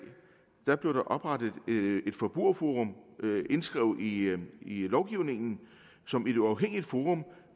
blev oprettet et forbrugerforum indskrevet i lovgivningen som et uafhængigt forum